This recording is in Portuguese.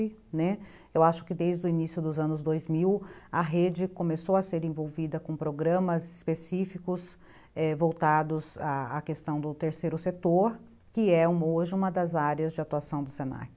Eu acho que desde o início dos anos dois mil, a rede começou a ser envolvida com programas específicos, voltados à questão do terceiro setor, que é hoje uma das áreas de atuação do se na que.